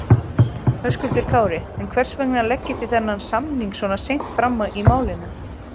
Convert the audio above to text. Höskuldur Kári: En hvers vegna leggið þið þennan samning svona seint fram í málinu?